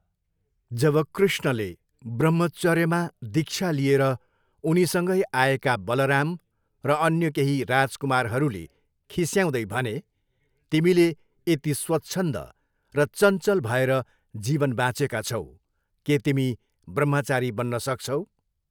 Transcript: जब कृष्णले ब्रह्मचर्यमा दीक्षा लिए उनीसँगै आएका बलराम र अन्य केही राजकुमारहरूले खिस्याउँदै भने, तिमीले यति स्वच्छन्द र चञ्चल भएर जीवन बाँचेका छौ, के तिमी ब्रह्मचारी बन्न सक्छौ?